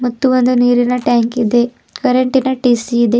ಮತ್ತು ಒಂದು ನೀರಿನ ಟ್ಯಾಂಕ್ ಇದೆ ಕರೆಂಟಿ ನ ಟಿ_ಸಿ ಇದೆ.